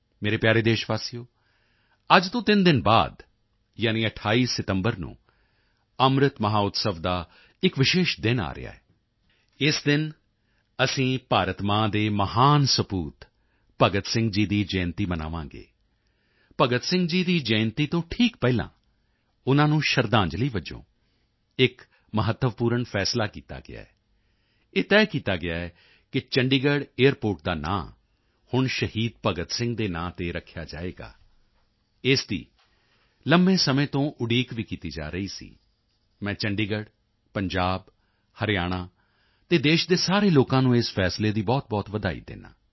ਮੇਰੇ ਪਿਆਰੇ ਦੇਸ਼ਵਾਸੀਓ ਅੱਜ ਤੋਂ ਤਿੰਨ ਦਿਨ ਬਾਅਦ ਯਾਨੀ 28 ਸਤੰਬਰ ਨੂੰ ਅੰਮ੍ਰਿਤ ਮਹੋਤਸਵ ਦਾ ਇੱਕ ਵਿਸ਼ੇਸ਼ ਦਿਨ ਆ ਰਿਹਾ ਹੈ ਇਸ ਦਿਨ ਅਸੀਂ ਭਾਰਤ ਮਾਂ ਦੇ ਮਹਾਨ ਸਪੂਤ ਭਗਤ ਸਿੰਘ ਜੀ ਦੀ ਜਯੰਤੀ ਮਨਾਵਾਂਗੇ ਭਗਤ ਸਿੰਘ ਜੀ ਦੀ ਜਯੰਤੀ ਤੋਂ ਠੀਕ ਪਹਿਲਾਂ ਉਨ੍ਹਾਂ ਨੂੰ ਸ਼ਰਧਾਂਜਲੀ ਵਜੋਂ ਇੱਕ ਮਹੱਤਵਪੂਰਨ ਫ਼ੈਸਲਾ ਕੀਤਾ ਗਿਆ ਹੈ ਇਹ ਤੈਅ ਕੀਤਾ ਹੈ ਕਿ ਚੰਡੀਗੜ੍ਹ ਏਅਰਪੋਰਟ ਦਾ ਨਾਮ ਹੁਣ ਸ਼ਹੀਦ ਭਗਤ ਸਿੰਘ ਜੀ ਦੇ ਨਾਮ ਤੇ ਰੱਖਿਆ ਜਾਵੇਗਾ ਇਸ ਦੀ ਲੰਬੇ ਸਮੇਂ ਤੋਂ ਉਡੀਕ ਵੀ ਕੀਤੀ ਜਾ ਰਹੀ ਸੀ ਮੈਂ ਚੰਡੀਗੜ੍ਹ ਪੰਜਾਬ ਹਰਿਆਣਾ ਅਤੇ ਦੇਸ਼ ਦੇ ਸਾਰੇ ਲੋਕਾਂ ਨੂੰ ਇਸ ਫ਼ੈਸਲੇ ਦੀ ਬਹੁਤਬਹੁਤ ਵਧਾਈ ਦਿੰਦਾ ਹਾਂ